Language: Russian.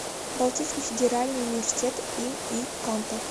балтийский федеральный университет им и канта